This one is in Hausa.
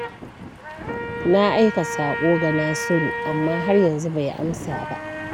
Na aika saƙo ga Nasiru, amma har yanzu bai amsa ba.